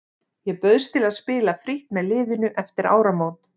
Ég bauðst til að spila frítt með liðinu eftir áramót.